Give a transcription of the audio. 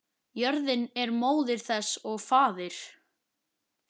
Jörðin er móðir þess og faðir.